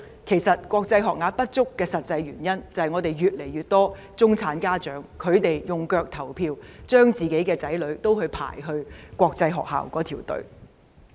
其實，國際學校學額不足的實際原因，就是越來越多中產家長用腳來投票，將子女送到國際學校就讀。